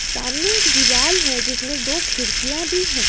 सामने एक दीवाल है जिसमें दो खिड़कियां भी है।